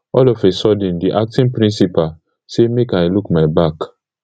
all of a sudden di acting principal say make i look my back